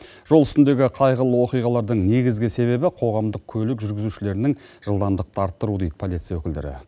жол үстіндегі қайғылы оқиғалардың негізгі себебі қоғамдық көлік жүргізушілерінің жылдамдықты арттыруы дейді полиция өкілдері